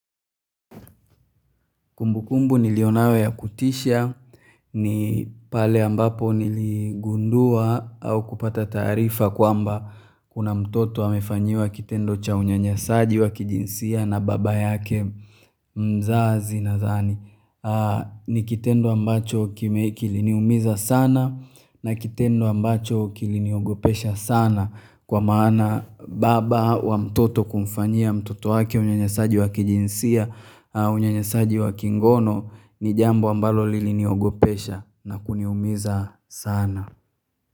Kumbukumbu nilionayo ya kutisha ni pale ambapo niligundua au kupata taarifa kwamba kuna mtoto amefanyiwa kitendo cha unyanyasaji wa kijinsia na baba yake mzazi nadhani ni kitendo ambacho kiliniumiza sana na kitendo ambacho kiliniogopesha sana kwa maana baba wa mtoto kumfanyia mtoto wake unyanyasaji wa kijinsia Unyanyasaji wa kingono ni jambo ambalo liliniogopesha na kuniumiza sana.